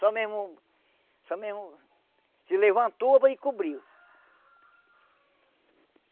Só mesmo, só mesmo, se levantou e cobriu.